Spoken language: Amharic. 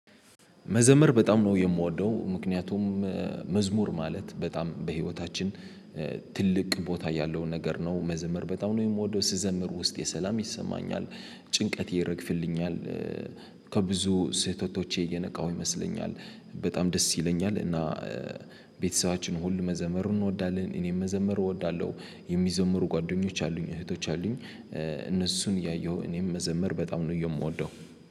መዘመር በጣም ነው የምወደው ምክንያቱም መዝሙር ማለት በጣም በህይወታችን ትልቅ ቦታ ያለው ነገር ነው። መዘምር በጣም ነው የምወደው ስዘምር ውስጤ ሰላም ይሰማኛል ጭንቀት ይረግፍልኛል። ከብዙ ስህተቶቼ እየነቃሁ ይመስለኛል በጣም ደስ ይለኛል። እና ቤተሰባችን ሁሉ መዘመሩን እንወዳለን። እኔም መዘመሩ እወዳለሁ የሚዘምሩ ጓደኞች አሉኝ እህቶች አሉኝ። ያየሁ እኔም መዘመር በጣም ነው የምወደው።